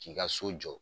K'i ka so jɔ